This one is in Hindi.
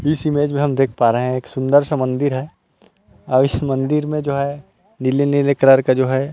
इस इमेज में हम देख पा रहे है एक सुन्दर सा मंदिर है और इस मंदिर में जो है नीले-नीले कलर का जो है।